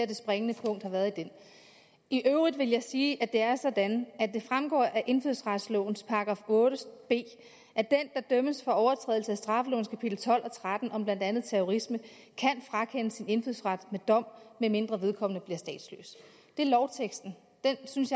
det springende punkt har været i øvrigt vil jeg sige at det er sådan at det fremgår af indfødsretslovens § otte b at den der dømmes for overtrædelse af straffelovens kapitel tolv og tretten om blandt andet terrorisme kan frakendes sin indfødsret ved dom medmindre vedkommende bliver statsløs det er lovteksten den synes